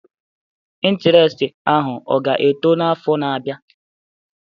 Intiresti ahụ ọ ga-eto n'afọ na-abịa?